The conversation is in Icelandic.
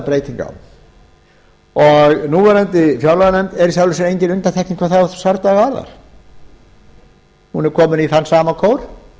núverandi fjárlaganefnd er í sjálfu sér engin undantekning hvað þá svardaga varðar hún er komin í þann sama kór